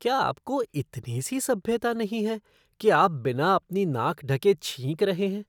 क्या आपको इतनी सी सभ्यता नहीं है कि आप बिना अपनी नाक ढके छींक रहे हैं?